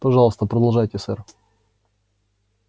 пожалуйста продолжайте сэр